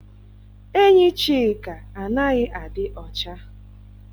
Enyi Chika anaghị adị ọcha.